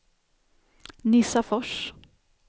Nissafors